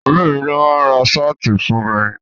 Ọ̀rẹ́ mi ló máa ra ṣáàtì fún mi.